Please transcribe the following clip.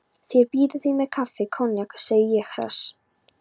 Þeir bíða þín með kaffi og koníak, segi ég hress.